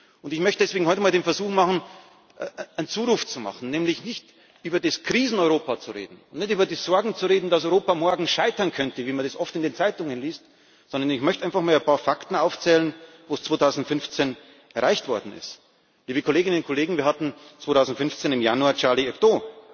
Und ich möchte deswegen heute einmal den Versuch machen, einen Zuruf zu machen, nämlich nicht über das Krisen Europa zu reden, nicht über die Sorgen zu reden, dass Europa morgen scheitern könnte, wie man es oft in den Zeitungen liest, sondern ich möchte einfach mal ein paar Fakten aufzählen, was 2015 erreicht worden ist. Liebe Kolleginnen und Kollegen, wir hatten 2015 im Januar Charlie Hebdo.